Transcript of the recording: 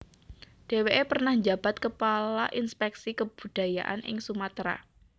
Deweke pernah njabat kepala Inspeksi Kebudayaan ing Sumatera